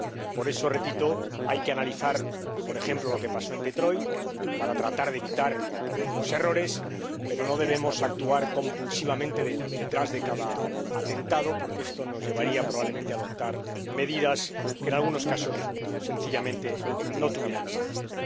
Por eso, hay que analizar, por ejemplo, lo que pasó en Detroit, para tratar de evitar los errores, pero no debemos actuar compulsivamente detrás de cada atentado, porque esto nos llevaría, probablemente, a adoptar medidas que, en algunos casos, sencillamente, no tendrían sentido.